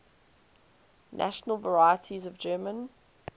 national varieties of german